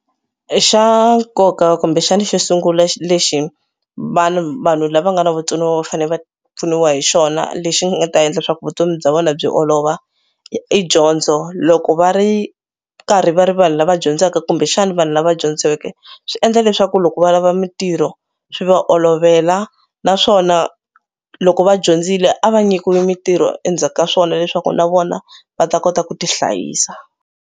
Xa nkoka kumbexana xo sungula lexi vanhu vanhu lava nga na vutsoniwa va fanele va pfuniwa hi xona lexi nga ta endla leswaku vutomi bya vona byi olova i dyondzo. Loko va ri nkarhi va ri vanhu lava dyondzaka kumbexana vanhu lava dyondzeke swi endla leswaku loko va lava mitirho swi va olovela naswona loko va dyondzile a va nyikiwe mitirho endzhaku ka swona leswaku na vona va ta kota ku tihlayisa.